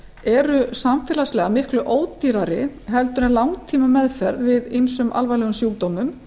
eru samfélagslega miklu ódýrari heldur en langtímameðferð við ýmsum alvarlegum sjúkdómum